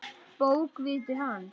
Bókviti hans?